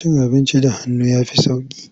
Cin abinci da hannu ya fi sauƙi.